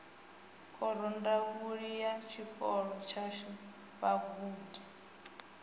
khorondanguli ya tshikolo tshashu vhagudi